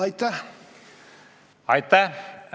Aitäh!